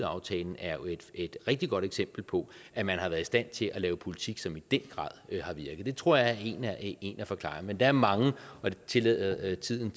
et rigtig godt eksempel på at man har været i stand til at lave politik som i den grad har virket det tror jeg er en af forklaringerne men der er mange og dem tillader tiden